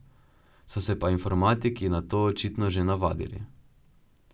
So se pa informatiki na to očitno že navadili.